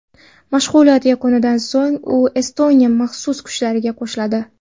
Mashg‘ulot yakunidan so‘ng u Estoniya maxsus kuchlariga qo‘shiladi.